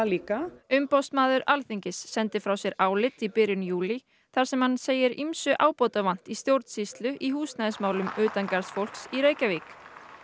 líka umboðsmaður Alþingis sendi frá sér álit í byrjun júlí þar sem hann segir ýmsu ábótavant í stjórnsýslu í húsnæðismálum utangarðsfólks í Reykjavík